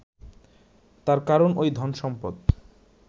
তার কারণ ওই ধনসম্পদ